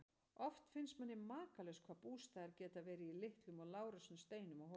Oft finnst manni makalaust hvað bústaðirnir geta verið í litlum og lágreistum steinum og hólum.